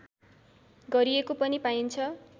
गरिएको पनि पाइन्छ